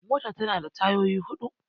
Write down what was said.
Mota tana da tayoyi huɗu